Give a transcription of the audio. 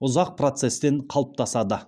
ұзақ процестен қалыптасады